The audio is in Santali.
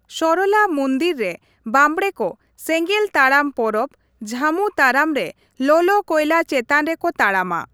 ᱥᱚᱨᱚᱞᱟ ᱢᱩᱱᱫᱤᱞ ᱨᱮ ᱵᱟᱸᱵᱲᱮ ᱠᱚ ᱥᱮᱸᱜᱮᱞ ᱼᱛᱟᱲᱟᱢ ᱯᱚᱨᱚᱵᱽ, ᱡᱷᱟᱹᱢᱩ ᱛᱟᱲᱟᱢ ᱨᱮ ᱞᱚᱞᱚ ᱠᱚᱭᱞᱟ ᱪᱮᱛᱟᱱ ᱨᱮᱠᱚ ᱛᱟᱲᱟᱢᱟ ᱾